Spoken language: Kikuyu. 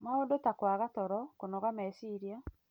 Maũndũ ta kwaga toro, kũnoga meciria,